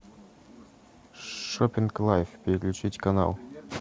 шопинг лайф переключить канал